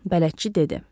Bələdçi dedi.